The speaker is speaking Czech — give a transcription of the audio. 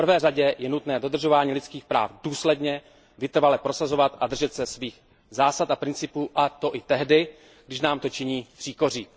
V prvé řadě je nutné dodržování lidských práv důsledně, vytrvale prosazovat a držet se svých zásad a principů, a to i tehdy, když nám to činí příkoří.